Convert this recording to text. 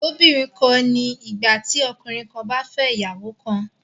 Ìlóbìnrin kan ni ìgbà tí ọkùnrin kan bá fẹ́ ìyàwó kan